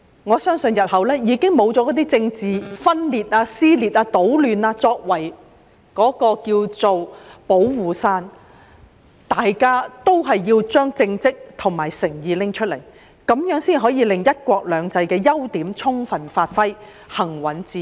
我相信日後不會再有政治分裂、撕裂、搗亂作為"保護傘"，大家都要拿出政績和誠意，這樣才可以令"一國兩制"的優點得到充分發揮，行穩致遠。